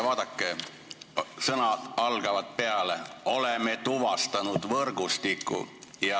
Vaadake, mis sõnadega see algab: "oleme tuvastanud võrgustiku".